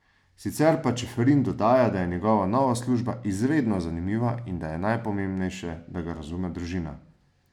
Sicer pa Čeferin dodaja, da je njegova nova služba izredno zanimiva in da je najpomembnejše, da ga razume družina.